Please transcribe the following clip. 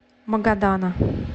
магадана